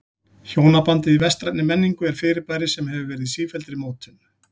Hjónabandið í vestrænni menningu er fyrirbæri sem hefur verið í sífelldri mótun.